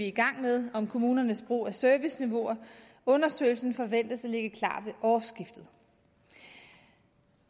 i gang med om kommunernes brug af serviceniveauer undersøgelsen forventes at ligge klar ved årsskiftet